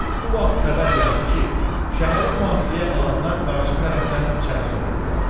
Bu vaxt xəbər gəldi ki, şəhəri mühasirəyə alanlar qarşı tərəfdən içəri soxulublar.